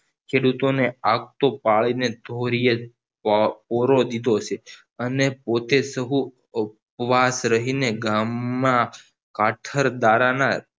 ખેડૂતો ને આપતો ભાળીને ધોરિયે ઓરો દીધો અને પોતે સહુ ઉપવાસ રહીને ગામમાં પાછળ દાળા ના